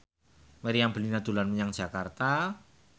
Meriam Bellina dolan menyang Jakarta